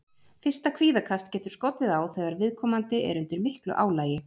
Fyrsta kvíðakast getur skollið á þegar viðkomandi er undir miklu álagi.